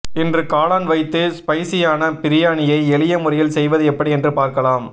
இன்று காளான் வைத்து ஸ்பைஸியான பிரியாணியை எளிய முறையில் செய்வது எப்படி என்று பார்க்கலாம்